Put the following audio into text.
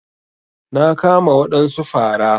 Na kama wadansu fara.